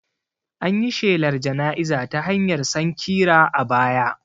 An yi shelar jana'iza ta hanyar sankira a baya